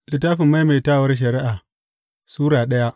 Maimaitawar Shari’a Sura daya